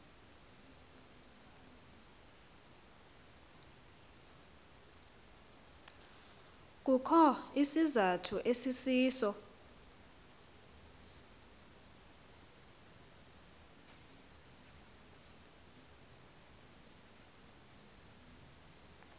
kukho isizathu esisiso